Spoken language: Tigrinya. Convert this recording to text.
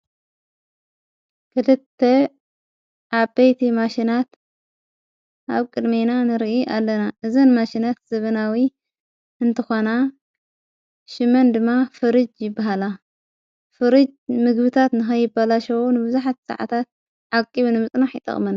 ክልተ ዓበይቲ ማሽናት ኣብ ቅድሜና ንርኢ ኣለና እዘን ማሽናት ዘበናዊ እንተኾና ሽመን ድማ ፍርጅ ብሃላ ፍርጅ ምግብታት ንኸይበላሸዎ ንብዙኃት ሰዓታት ዓቂቡ ንምጽናሕ ይጠቕመና ::